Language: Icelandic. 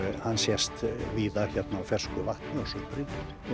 hann sést víða hérna á fersku vatni á sumrin